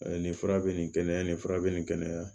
nin fura bɛ nin kɛnɛya nin fura bɛ nin kɛnɛya